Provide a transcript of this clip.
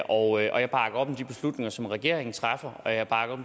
og jeg bakker op om de beslutninger som regeringen træffer og jeg bakker